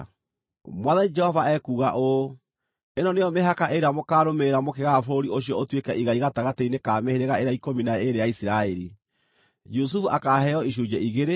Mwathani Jehova ekuuga ũũ: “Ĩno nĩyo mĩhaka ĩrĩa mũkaarũmĩrĩra mũkĩgaya bũrũri ũcio ũtuĩke igai gatagatĩ-inĩ ka mĩhĩrĩga ĩrĩa ikũmi na ĩĩrĩ ya Isiraeli. Jusufu akaaheo icunjĩ igĩrĩ.